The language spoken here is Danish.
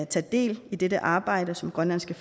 tage del i dette arbejde som grønlandske